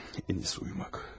Ən iyisi uyumaq.